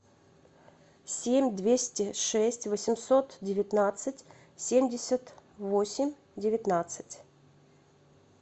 семь двести шесть восемьсот девятнадцать семьдесят восемь девятнадцать